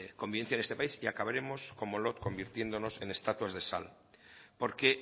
convivencia en este país y acabaremos cómo no convirtiéndonos en estatuas de sal porque